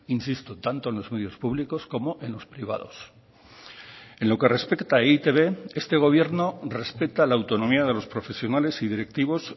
insisto tanto en los medios públicos como en los privados en lo que respecta a e i te be este gobierno respeta la autonomía de los profesionales y directivos